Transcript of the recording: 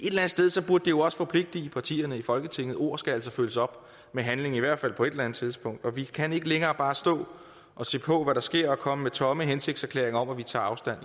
jo også forpligte partierne i folketinget ord skal altså følges op med handling i hvert fald på et eller andet tidspunkt vi kan ikke længere bare stå og se på hvad der sker og komme med tomme hensigtserklæringer om at vi tager afstand